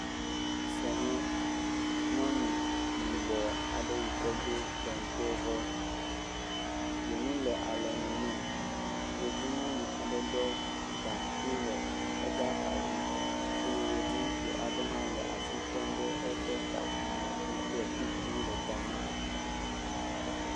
Esia nye nyɔnu yibɔ aɖe yi ke do kentevɔ, dzonu le alɔnu nɛ. Yevu nyɔnu aɖe ɖɔ gaŋkui le eƒe axadzi eye yevu ŋutsu aɖe hã le asi tem ɖe eƒe kaƒomɔ dzi kple kuku le ta nɛ.